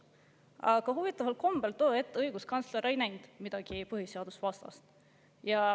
Aga huvitaval kombel too hetk õiguskantsler ei näinud selles midagi põhiseadusvastast.